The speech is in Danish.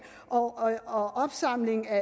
og og opsamling af